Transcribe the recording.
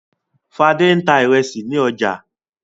Fadé ń ta ìrẹsì ní ọjà.